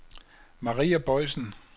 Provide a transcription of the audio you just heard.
Maria Boisen